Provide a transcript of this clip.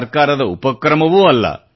ಸರ್ಕಾರದ ಉಪಕ್ರಮವೂ ಅಲ್ಲ